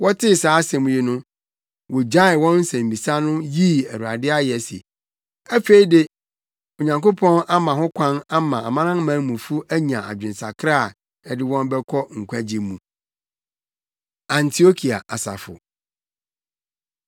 Wɔtee saa asɛm yi no, wogyaee wɔn nsɛmmisa no yii Awurade ayɛ se, “Afei de Onyankopɔn ama ho kwan ama amanamanmufo anya adwensakra a ɛde wɔn bɛkɔ nkwagye mu.” Antiokia Asafo